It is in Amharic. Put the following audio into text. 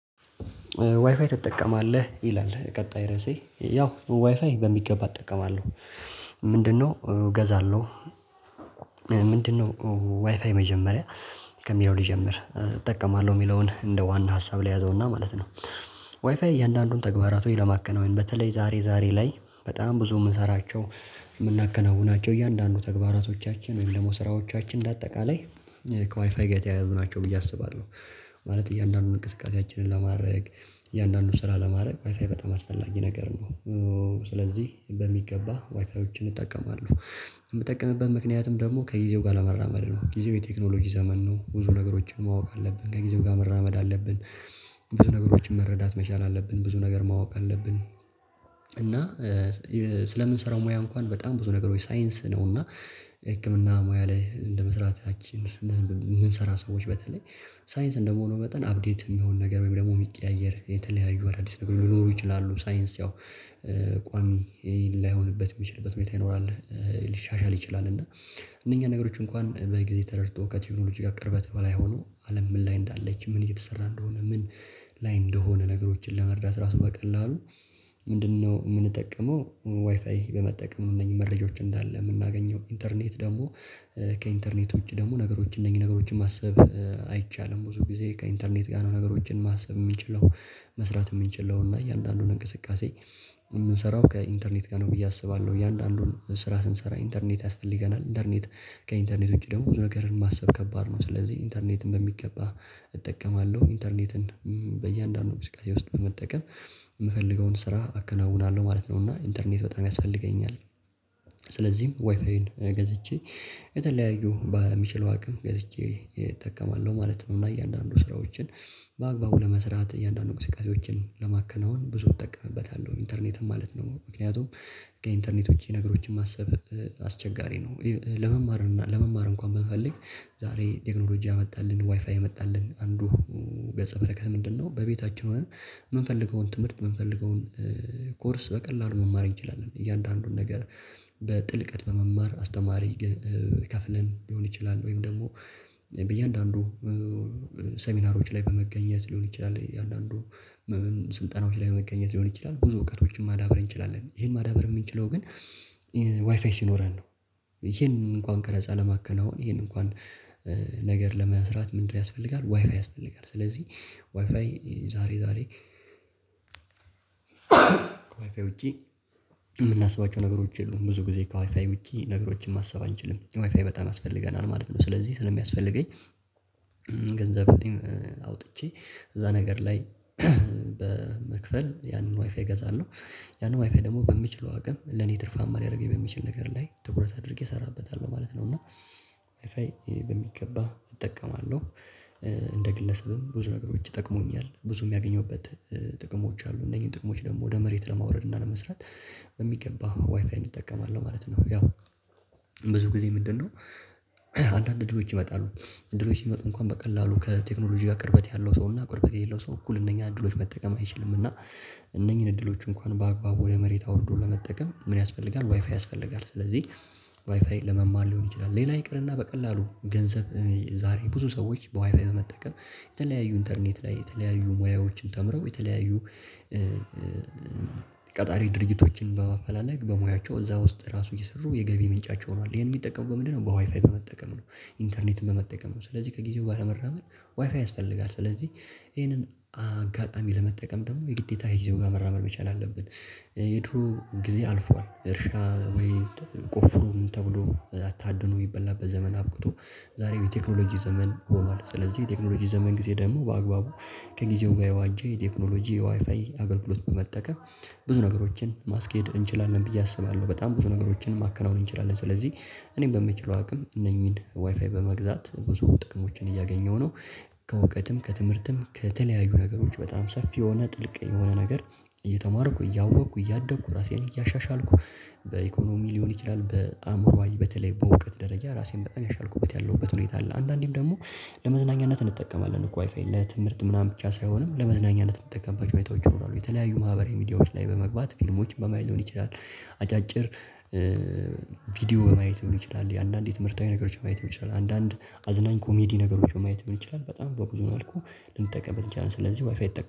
ዋይፋይ ትጠቀማለህ ይላል ቀጣይ ርዕሴ ያው ዋይፋይ በሚገባ እጠቀማለሁ። ምንድነው? እገዛለሁ። ምንድነው? ዋይፋይ መጀመሪያ ከሚለው ልጀምር እጠቀማለሁ የሚለውን እንደ ዋና ሀሳብ ላይ ልያዘውና ማለት ነው። ዋይፋይ እያንዳንዱን ተግባራት ሆይ ለማከናወን በተለይ ዛሬ ዛሬ ላይ በጣም ብዙ የምንሰራቸው የምናከናውናቸው እያንዳንዱ ተግባራቶቻችን ወይም ደግሞ ስራዎቻችን እንደ በአጠቃላይ ከዋይፋይ ጋር የተያያዙ ናቸው ብዬ አስባለሁ። ማለት እያንዳንዱን እንቅስቃሴያችንን ለማድረግ እያንዳንዱን ስራ ለማድረግ ዋይፋይ በጣም አስፈላጊ ነገር ነው። ስለዚህ በሚገባ ዋይፋዮችን እጠቀማለሁ የምጠቀምበት ምክንያቱም ደግሞ ከጊዜው ጋር ለመራመድ ነው ጊዜው የቴክኖሎጂ ዘመን ነው ብዙ ነገሮችን ማወቅ አለብን ከጊዜው ጋር መራመድ አለብን። ብዙ ነገሮችን መረዳት መቻል አለብን ብዙ ነገር ማወቅ አለብን። እና ስለምንሰራው ሙያ እንኳን በጣም ብዙ ነገሮች ሳይንስ ነው እና ህክምና ሙያ ላይ እንደ መስራት ያቺን። ምን ስራ ሰዎች በተለይ ሳይንስ እንደመሆኑ መጠን አፕዴት የሚሆን ነገር ወይም ደግሞ የሚቀያየር የተለያዩ አዳዲስ ነገር ሊኖሩ ይችላሉ። ሳይንስ ያው ቋሚ ላይሆንበት የሚችልበት ሁኔታ ይኖራል። ሊሻሻል ይችላል። እና እነኛ ነገሮች እንኳን በጊዜ ተረድቶ ከቴክኖሎጂ ጋር ቅርበት በላይ ሆኖ አለም ምን ላይ እንዳለች ምን እየተሰራ እንደሆነ ምን ላይ እንደሆነ ነገሮችን ለመርዳት ራሱ በቀላሉ። ምንድነው? የምንጠቀመው ዋይፋይ በመጠቀም እነኚህ መረጃዎች እንዳለ የምናገኘው ኢንተርኔት ደግሞ ከኢንተርኔት ውጪ ደግሞ ነገሮች እነኚህ ነገሮችን ማሰብ አይቻልም። ብዙ ጊዜ ከኢንተርኔት ጋር ነው ነገሮችን ማሰብ የምንችለው መስራት የምንችለው እና እያንዳንዱን እንቅስቃሴ የምንሰራው ከኢንተርኔት ጋር ነው ብዬ አስባለሁ። እያንዳንዱን ስራ ስንሰራ ኢንተርኔት ያስፈልገናል። ኢንተርኔት ከኢንተርኔት ውጪ ደግሞ ብዙ ነገርን ማሰብ ከባድ ነው። ስለዚህ ኢንተርኔትን በሚገባ እጠቀማለሁ። ኢንተርኔትን በእያንዳንዱ እንቅስቃሴ ውስጥ በመጠቀም የምፈልገውን ስራ አከናውናለሁ ማለት ነው። እና ኢንተርኔት በጣም ያስፈልገኛል። ስለዚህም ዋይፋይን ገዝቼ የተለያዩ በሚችለው አቅም ገዝቼ እጠቀማለሁ ማለት ነው። እና እያንዳንዱ ስራዎችን በአግባቡ ለመስራት እያንዳንዱ እንቅስቃሴዎችን ለማከናወን ብዙ እጠቀምበታለሁ ኢንተርኔትም ማለት ነው ምክንያቱም ከኢንተርኔቶች ነገሮችን ማሰብ አስቸጋሪ ነው። ለመማር እና ለመማር እንኳን ብንፈልግ ዛሬ ቴክኖሎጂ አመጣልን ዋይፋይ አመጣልን አንዱ ገጸ በረከት ምንድነው? በቤታችን ሆነ የምንፈልገውን ትምህርት የምንፈልገውን ኮርስ በቀላሉ መማር እንችላለን እያንዳንዱን ነገር በጥልቀት በመማር አስተማሪ ይከፍለን ሊሆን ይችላል። ወይም ደግሞ በእያንዳንዱ ሴሚናሮች ላይ በመገኘት ሊሆን ይችላል የአንዳንዱ ስልጠናዎች ላይ በመገኘት ሊሆን ይችላል። ብዙ እውቀቶችን ማዳበር እንችላለን ይሄን ማዳበር የምንችለው ግን ዋይፋይ ሲኖረን ነው። ይሄን እንኳን ቀረጻ ለማከናወን ይሄን እንኳን ነገር ለመስራት ምንድነው? ያስፈልጋል ዋይፋይ ያስፈልጋል። ስለዚህ ዋይፋይ ዛሬ ዛሬ ዋይፋይ ውጪ የምናስባቸው ነገሮች የሉም ብዙ ጊዜ ከዋይፋይ ውጪ ነገሮችን ማሰብ አንችልም ዋይፋይ በጣም አስፈልገናል ማለት ነው። ስለዚህ ስለሚያስፈልገኝ ገንዘብ አውጥቼ እዛ ነገር ላይ በመክፈል ያንን ዋይፋይ እገዛለው ያንን ዋይፋይ ደግሞ በሚችለው አቅም ለኔ ትርፋማ ሊያደርገኝ በሚችል ነገር ላይ ትኩረት አድርጌ እሰራበታለሁ ማለት ነው። እና ዋይፋይ በሚገባ እጠቀማለሁ። እንደ ግለሰብም ብዙ ነገሮች ይጠቅሙኛል ብዙ የሚያገኘውበት ጥቅሞች አሉ እነኝህን ጥቅሞች ደግሞ ወደ መሬት ለማውረድ እና ለመስራት በሚገባ ዋይፋይን እጠቀማለሁ ማለት ነው። ያው ብዙ ጊዜ ምንድነው? አንዳንድ እድሎች ይመጣሉ እድሎች ሲመጣሉ እንኳን በቀላሉ ከቴክኖሎጂ ጋር ቅርበት ያለው ሰውና ቅርበት የሌለው ሰው እኩል እነኛ እድሎች መጠቀም አይችልምና። እነኚህን እድሎች እንኳን በአግባቡ ወደ መሬት አውርዶ ለመጠቀም ምን? ያስፈልጋል ዋይፋይ ያስፈልጋል። ስለዚህ ዋይፋይ ለመማር ሊሆን ይችላል ሌላ ይቅርና በቀላሉ ገንዘብ ዛሬ ብዙ ሰዎች በዋይፋይ በመጠቀም የተለያዩ ኢንተርኔት ላይ የተለያዩ ሙያዎችን ተምረው የተለያዩ ቀጣሪ ድርጊቶችን በማፈላለግ በሙያቸው እዛ ውስጥ ራሱ ይሰሩ የገቢ ምንጫቸው ሆኗል ይሄን የሚጠቀሙ በምንድነው በዋይፋይ በመጠቀም ነው። ኢንተርኔትም በመጠቀም ነው። ስለዚህ ከጊዜው ጋር ለመራመድ ዋይፋይ ያስፈልጋል። ስለዚህ ይሄንን አጋጣሚ ለመጠቀም ደግሞ የግዴታ ከጊዜው ጋር መራመር መቻል አለብን። የድሮ ጊዜ አልፏል እርሻ ወይ ቆፍሮ ተብሎ አታድኖ የሚበላበት ዘመን አብቅቶ ዛሬው የቴክኖሎጂ ዘመን ሆኗል። ስለዚህ የቴክኖሎጂ ዘመን ጊዜ ደግሞ በአግባቡ ከጊዜው ጋር የዋንጃ የቴክኖሎጂ ዋይፋይ አገልግሎት በመጠቀም ብዙ ነገሮችን ማስኬድ እንችላለን። ብዬ አስባለሁ በጣም ብዙ ነገሮችን ማከናወን እንችላለን። ስለዚህ እኔም በምችለው አቅም እነኚህን ዋይፋይ በመግዛት ብዙ ጥቅሞችን እያገኘሁ ነው። ከእውቀትም ከትምህርትም ከተለያዩ ነገሮች በጣም ሰፊ የሆነ ጥልቅ የሆነ ነገር እየተማርኩ እያወቅኩ እያደግኩ ራሴን እያሻሻልኩ በኢኮኖሚ ሊሆን ይችላል በአእምሮዋ በተለይ በእውቀት ደረጃ ራሴን በጣም ያሻልኩበት ያለሁበት ሁኔታ አለ። አንዳንዴም ደግሞ ለመዝናኛነት እንጠቀማለን እኮ ዋይፋይ ለትምህርት ምናምን ብቻ ሳይሆንም ለመዝናኛነት የምትጠቀማቸው ቤተሰቦች ይኖራሉ የተለያዩ ማህበራዊ ሚዲያዎች ላይ በመግባት ፊልሞች በማይለውን ይችላል። አጫጭር ቪዲዮ በማየት ሊሆን ይችላል። አንዳንዴ ትምህርታዊ ነገሮች ማየት ይችላል። አንዳንዴ አዝናኝ ኮሜዲ ነገሮች ማየት ይችላል። በጣም በብዙ መልኩ ልንጠቀምበት እንችላለን። ስለዚህ ዋይፋይ ይጠ